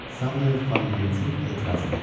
Samuel Fallentin etiraz elədi.